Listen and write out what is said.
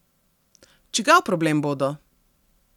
Čigav problem bodo?